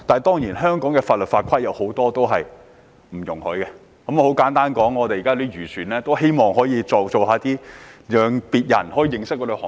當然，香港的法律法規未必容許這樣做，但現時很多漁農界人士都希望別人認識相關行業。